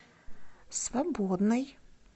свободный